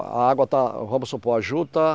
A água tá, vamos supor, a juta.